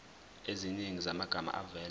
eziningi zamagama avela